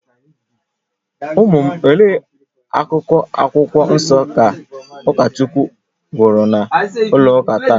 Ụmụ m, olee akụkụ Akwụkwọ Nsọ ka ụkọchukwu gụrụ na ụlọ ụka taa?